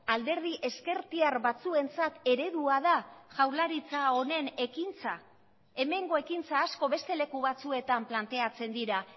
alderdi ezkertiar batzuentzat eredua da jaurlaritza honen ekintza hemengo ekintza asko beste leku batzuetan planteatzen dira